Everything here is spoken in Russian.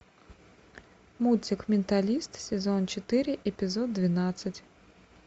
мультик менталист сезон четыре эпизод двенадцать